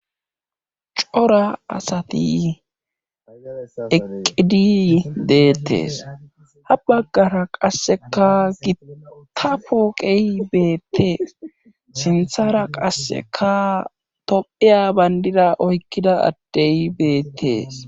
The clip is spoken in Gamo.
Cora asati eqqidi deetees ha bagara qassekka gita pooqe beetees. sinthra qassekka tophiya bandira oyqqida adde beetees.